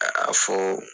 A fo